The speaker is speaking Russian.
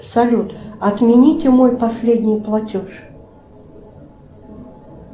салют отмените мой последний платеж